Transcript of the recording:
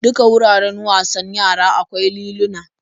Duka wuraren wasan yara akwai liluna.